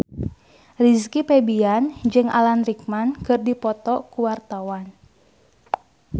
Rizky Febian jeung Alan Rickman keur dipoto ku wartawan